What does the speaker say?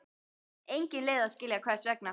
Engin leið að skilja hvers vegna.